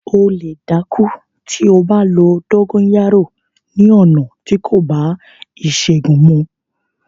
O lè dákú tí o bá lo “ dóńgóyárò” ni ọ̀nà tí kò bá ìṣègùn mu.